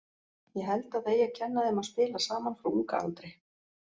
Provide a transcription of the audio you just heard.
Ég held að það eigi að kenna þeim að spila saman frá unga aldri.